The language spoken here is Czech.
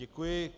Děkuji.